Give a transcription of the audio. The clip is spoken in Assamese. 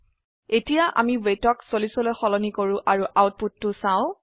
এতিয়া আমি weightক 40লৈ সলনি কৰো আৰু আউটপুটটো চাও